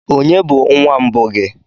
Ònye bụ nwa mbụ gị?